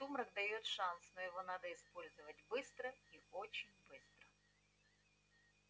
сумрак даёт шанс но его надо использовать быстро и очень быстро